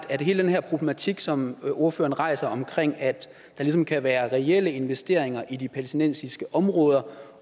hele den her problematik som ordføreren rejser om at der ligesom kan være reelle investeringer i de palæstinensiske områder